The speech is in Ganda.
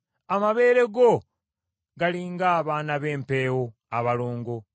Amabeere go gali ng’abaana b’empeewo, abalongo.